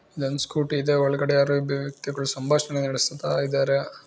ಇಲ್ಲೊಂದು ಸ್ಕೂಟಿ ಇದೆ. ಒಳಗಡೆ ಯಾರೋ ಇಬ್ಬರು ವ್ಯಕ್ತಿಗಳು ಸಂಭಾಷಣೆ ನಡೆಸುತ್ತಾ ಇದ್ದಾರೆ.